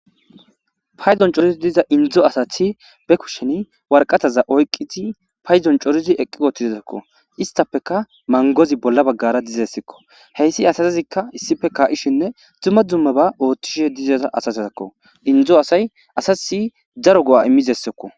paydon corizi diza indzo asathi be kushen warqataza oyqqizi payzon corizi eqqi utizesakko istapeka mangozi bolla baggara dizessikko heyssi asazikka issife kaa7ishinne dumma dumma ba oothtishe dizaza asat takko indo asay asa nas daro go'a immizessokko